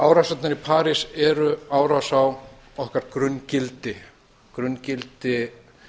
árásirnar í parís eru árás á okkar grunngildi grunngildi